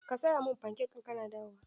Ka saya mun fankek in kana dawowa!